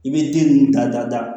I bɛ den ninnu da da